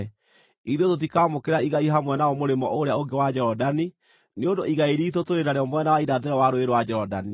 Ithuĩ tũtikaamũkĩra igai hamwe nao mũrĩmo ũrĩa ũngĩ wa Jorodani, nĩ ũndũ igai riitũ tũrĩ narĩo mwena wa irathĩro wa Rũũĩ rwa Jorodani.”